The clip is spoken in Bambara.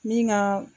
Min ka